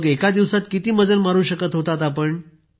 एका दिवसात किती मजल मारू शकत होतात आपण।